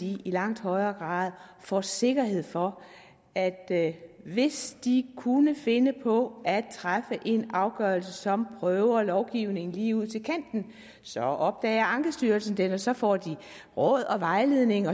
i langt højere grad får sikkerhed for at at hvis de kunne finde på at træffe en afgørelse som prøver lovgivningen lige ud til kanten så opdager ankestyrelsen det og så får de råd og vejledning